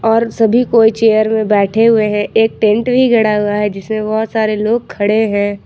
और सभी कोई चेयर मे बैठे हुए हैं एक टेंट भी गड़ा हुआ है जिसमें बहोत सारे लोग खड़े हैं।